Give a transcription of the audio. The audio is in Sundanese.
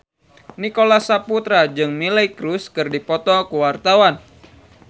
Nicholas Saputra jeung Miley Cyrus keur dipoto ku wartawan